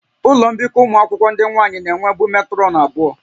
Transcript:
Ụlọ mbikọ ụmụ akwụkwọ ndị nwaanyị na-enwebu metrọnụ abụọ